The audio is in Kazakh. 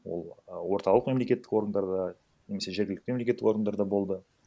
ол а орталық мемлекеттік органдарда немесе жергілікті мемлекеттік органдарда болды